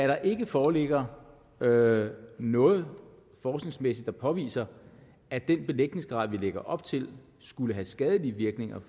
der ikke foreligger noget noget forskningsmæssigt der påviser at den belægningsgrad vi lægger op til skulle have skadelige virkninger